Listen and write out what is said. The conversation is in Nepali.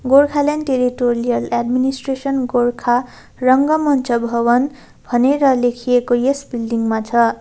गोर्खाल्यान्ड टेरिटोरियल एडमिनिस्ट्रेसन गोरखा रंगगमञ्च भवन भनेर लेखिएको यस बिल्डिङ मा छ।